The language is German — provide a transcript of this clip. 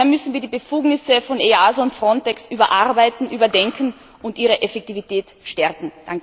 Daher müssen wir die Befugnisse von EASO und Frontex überarbeiten, überdenken und ihre Effektivität stärken.